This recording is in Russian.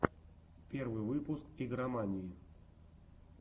первый выпуск игромании